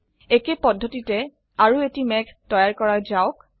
একেই পদ্ধতিতে আৰো এটি মেঘ তৈয়াৰ কৰা যাওক